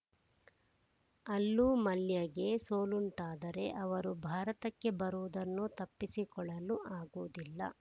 ಅಲ್ಲೂ ಮಲ್ಯಗೆ ಸೋಲುಂಟಾದರೆ ಅವರು ಭಾರತಕ್ಕೆ ಬರುವುದನ್ನು ತಪ್ಪಿಸಿಕೊಳ್ಳಲು ಆಗುವುದಿಲ್ಲ